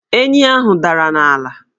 Enyi ahụ dara n' ala